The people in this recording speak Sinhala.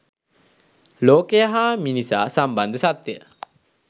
ලෝකය හා මිනිසා සම්බන්ධ සත්‍යය